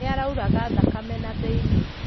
Nĩ arauraga thakame na thĩinĩ.